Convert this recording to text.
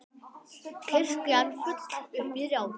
Kirkjan full upp í rjáfur.